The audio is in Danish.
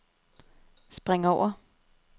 spring over